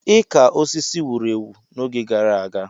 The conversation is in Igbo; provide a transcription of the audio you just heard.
Ịka osisi wuru ewu n'oge gara aga.